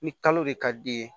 Ni kalo de ka d'i ye